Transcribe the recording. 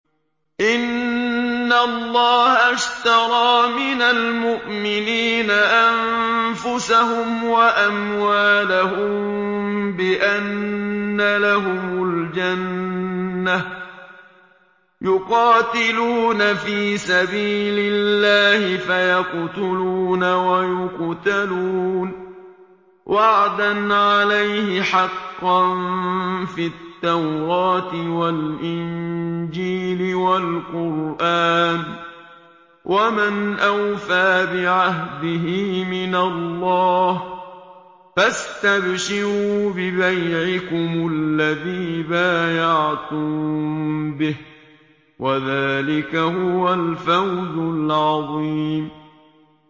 ۞ إِنَّ اللَّهَ اشْتَرَىٰ مِنَ الْمُؤْمِنِينَ أَنفُسَهُمْ وَأَمْوَالَهُم بِأَنَّ لَهُمُ الْجَنَّةَ ۚ يُقَاتِلُونَ فِي سَبِيلِ اللَّهِ فَيَقْتُلُونَ وَيُقْتَلُونَ ۖ وَعْدًا عَلَيْهِ حَقًّا فِي التَّوْرَاةِ وَالْإِنجِيلِ وَالْقُرْآنِ ۚ وَمَنْ أَوْفَىٰ بِعَهْدِهِ مِنَ اللَّهِ ۚ فَاسْتَبْشِرُوا بِبَيْعِكُمُ الَّذِي بَايَعْتُم بِهِ ۚ وَذَٰلِكَ هُوَ الْفَوْزُ الْعَظِيمُ